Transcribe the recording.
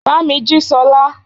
Bámí jí Sola!